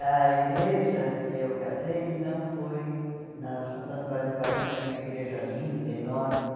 A igreja que eu casei não foi na Santo Antônio do Pari, que era uma igreja linda, enorme,